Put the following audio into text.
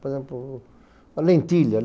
Por exemplo, lentilha.